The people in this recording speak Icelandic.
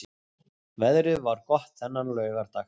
Veðrið var gott þennan laugardag.